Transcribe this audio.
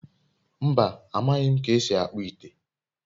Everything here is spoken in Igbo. mba, amaghi m ka esi akpu ite